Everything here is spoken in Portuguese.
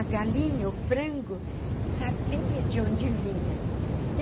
A galinha, o frango, sabia de onde vinha.